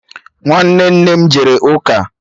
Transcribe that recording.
Nwanne nne m jere ụka